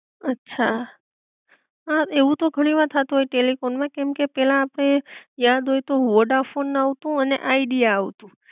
અછા, હા એવું તો ઘણી વાર થાતું હોય ટેલીફોન માં કેમકે પેલા આપડે યાદ હોય તો વોડાફોન આવતું અને આઇડિયા આવતું